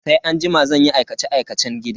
Sai anjima zan yi aikace-aikacen gida.